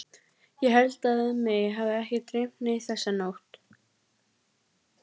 Ástvin, manstu hvað verslunin hét sem við fórum í á fimmtudaginn?